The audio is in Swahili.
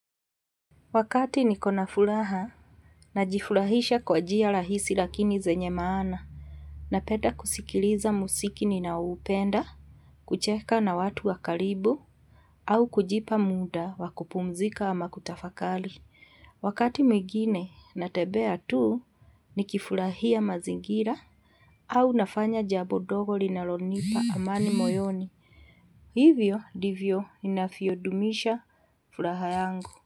Wakati niko na fulaha na jifurahisha kwa jia lahisi lakini zenye maana napeda kusikiliza musiki ninaupenda, kucheka na watu wa karibu au kujipa muda wa kupumzika ama kutafakali. Wakati mwingine natebea tuu nikifurahia mazingira au nafanya jabo dogo linalonipa amani moyoni. Hivyo divyo inafiodumisha fulaha yangu.